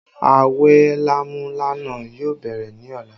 Awẹ lámúlánà yóò bẹ̀rẹ̀ ní ọ̀la